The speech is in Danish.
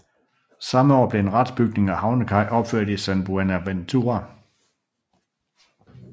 Samme år blev en retsbygning og havnekaj opført i San Buenaventura